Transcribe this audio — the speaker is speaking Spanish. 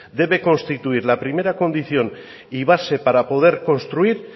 debe constituir la primera condición y base para poder construir